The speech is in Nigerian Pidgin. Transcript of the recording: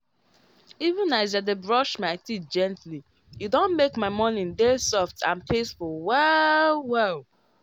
even as i dey brush my teeth gently e don make my morning dey soft and peaceful well-well.